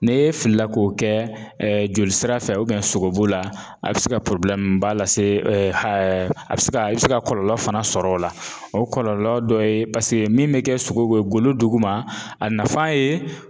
N'e filila k'o kɛ jolisira fɛ sogobu la a be se ka ba lase hɛ a be se ka a bɛ se ka kɔlɔlɔ fana sɔr'ɔ la o kɔlɔlɔ dɔ ye min be kɛ sogo ye golo duguma a nafa ye